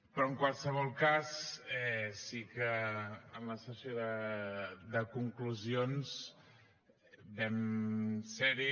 però en qualsevol cas sí que en la sessió de conclusions vam ser hi